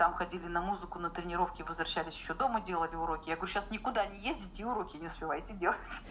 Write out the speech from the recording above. там ходили на музыку на тренировки возвращались ещё дома делать уроки я говорю сейчас никуда не ездите и уроки не успеваете делать